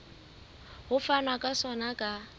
ho fanwa ka sona ka